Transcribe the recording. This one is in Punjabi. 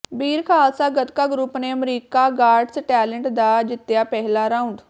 ਬੀਰ ਖ਼ਾਲਸਾ ਗਤਕਾ ਗਰੁਪ ਨੇ ਅਮਰੀਕਾ ਗਾਟਸ ਟੈਲੇਂਟ ਦਾ ਜਿਤਿਆ ਪਹਿਲਾ ਰਾਊਂਡ